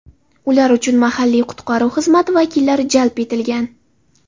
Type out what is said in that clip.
Ular uchun mahalliy qutqaruv xizmati vakillari jalb etilgan.